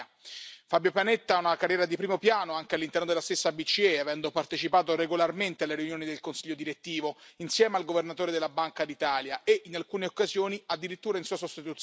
Fabio Panetta ha una carriera di primo piano anche all'interno della stessa BCE, avendo partecipato regolarmente alle riunioni del consiglio direttivo insieme al governatore della Banca d'Italia e, in alcune occasioni, addirittura in sua sostituzione.